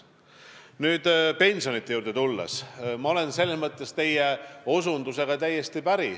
Kui nüüd pensionite juurde tulla, siis ma olen teie osutusega täiesti päri.